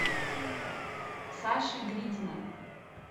саши гридина